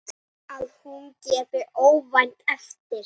Að hún gefi óvænt eftir.